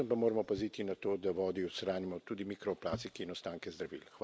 Predvsem pa moramo paziti na to, da vodi odstranimo tudi mikroplastike in ostanke zdravil.